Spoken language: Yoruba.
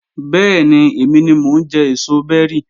Bẹ́ẹ̀ni, èmi ni mo ń jẹ èso bẹ́rì